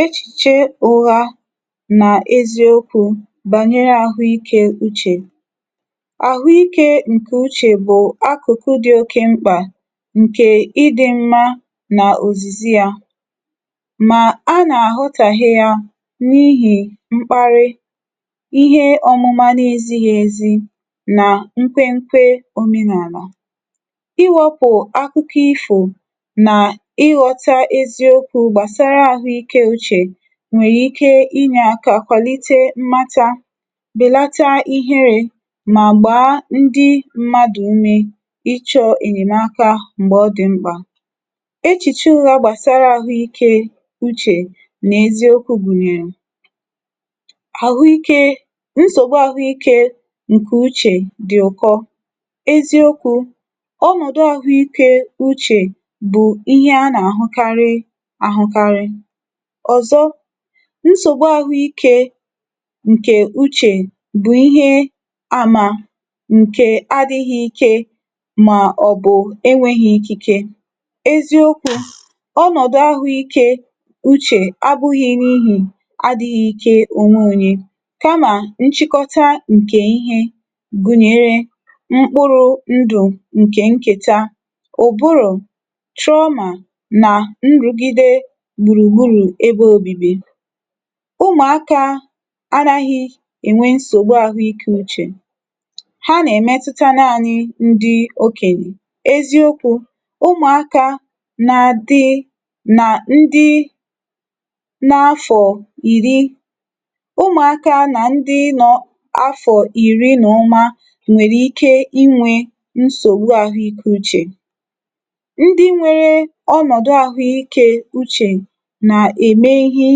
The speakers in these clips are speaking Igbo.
echìche ụra eziokwū, bànyere àhụ ikē uchè. àhụ ikē ǹke uchè bụ̀ akụ̀kụ̀ dị oke mkpà, ǹkè ịdị mma, nà òzìzi yā, mà a nà àghọtàhie ya, n’ihì mkparị, ihe ọmụma na ezīghi ezì, nà nkwẹ nkwe omenàlà. iwēpù akụkọ ifò, nà ị ghọta eziokwū gbàsara àhụ ikē uchè nwẹ̀rè ike ịnyẹ aka kwàlite mmata, bèlata iherē, mà gbàa ndị mmadù ume n’ịchọ̄ ẹ̀nyẹmaka m̀gbẹ̀ ọ dị̀ mkpà. echìchè ụra gbàsara àhụ ikē uchè nà eziokwū gùnyèrè: àhụ ikē, nsògbu àhụ ikē ǹkè uchè, dị̀ ụ̀kọ. eziokwū, ọnọdụ àhụ ikē uchè bụ̀ ịhẹ a nà àhụkarị àhụkarị. ọ̀zọ, nsògbu ahụ ikē ǹkè uchè bụ̀ ihe a mà ǹkè adighị ike, mà ọ̀ bụ̀ enweghi ikike. eziokwū, ọnọ̀dụ àhụ ikē uchè abụ̄ghị n’ihì adighị ike, kamà, nchịkọta ǹkẹ ịhẹ gụnyẹ̀rẹ̀ mkpụrụ̄ ndụ̀ ǹkẹ̀ nkẹta. ụ̀bụrụ̀, trauma, nà nrùgide gbùrù gburù ebe obibi. ụmụ̀akā anaghị ẹ̀nwẹ nsògbu àhụ ikē uchè. ha nà ẹ̀mẹtụta naanị ndị okènyè. eziokwū, ụmụ̀akā na adị na afọ̀ ìri, ụmụ̀akā nà ndị nọ̄ afọ̀ ìri nwèrè ike ịnwẹ nsògbu àhụ ikē uchè. ndị nwere ọnọ̀dụ àhụ ikē uchè nà ème ihe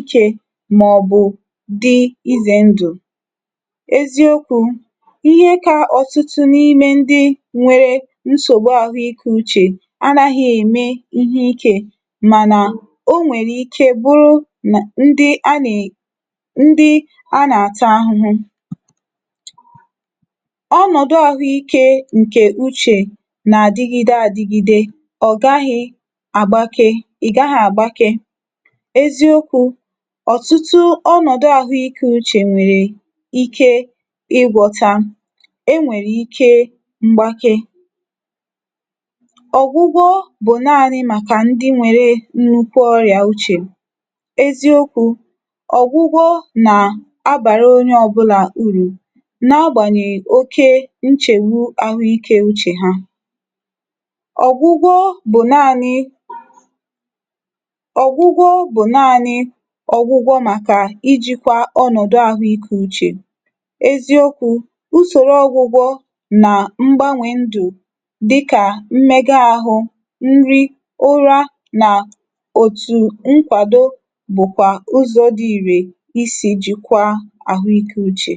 ikē, mà ọ̀ bụ̀ dị ịzẹ̀ ndụ̀. eziokwū, ịhẹ ka ọ̀tụtụ ndị n’ime ndi nwere nsògbu àhụ ikē uchè anaghị ème ihe ikē, mànà, o nwèrè ike bụrụ nà ndị a nà ed, ndị a nà àta ahụ. ọnọ̀dụ àhụ ikē ǹkè uchè nà àdigide adigide. ọ̀ gaghị agbake, ị̀ gaghị àgbake. eziokwū, ọ̀tụtụ ọnọ̀dụ àhụ ikē uchè nwẹ̀rẹ̀ ike ị gwọtā. e nwèrè ike mgbake. ọ̀gwụgwọ bụ̀ naanị màkà ndị nwere nnukwu ọrị̀à uchè. eziokwū, ọ̀gwụgwọ nà a bàra onye ọbụlà urù, na agbànyèghì oke nchègbu ahụ ikē uchè ha. ọ̀gwụgwọ bụ̀ naanị ọ̀gwụgwọ bụ̀ naanị ọgwụgwọ màkà ijīkwa ọnọdụ̀ àhụ ikē uchè. eziokwū, usòro ọgwụgwọ mà mgbanwẹ̀ ndụ̀ dịkà mmẹkọ ahụ, nri, ụra, nà òtù nkwàdo bụ̀kwà ụzọ̄ dị ìrè I sì jikwa àhụ ikē uchè.